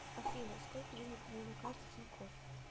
афина сколько денег у меня на карте тинькофф